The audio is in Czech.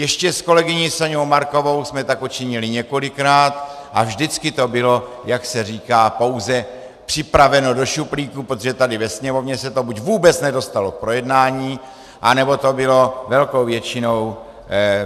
Ještě s kolegyní Soňou Markovou jsme tak učinili několikrát a vždycky to bylo, jak se říká, pouze připraveno do šuplíku, protože tady ve Sněmovně se to buď vůbec nedostalo k projednání, anebo to bylo velkou většinou